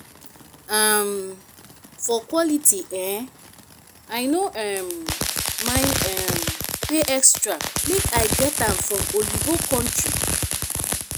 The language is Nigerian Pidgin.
um for quality eh i no um mind um pay extra make i get am from oyinbo kontry